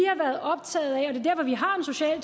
har en social